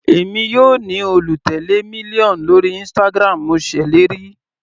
Èmi yóò ní olùtèlé mílíọ̀nù lórí Instagram, mo ṣèlérí.